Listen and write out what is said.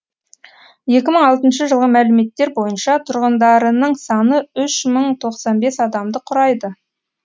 екі мың алтыншы жылғы мәліметтер бойынша тұрғындарының саны үш мың тоқсан бес адамды құрайды